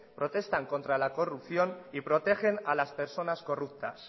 protestan contra la corrupción y protegen a las personas corruptas